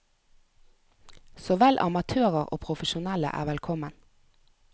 Så vel amatører og profesjonelle er velkommen.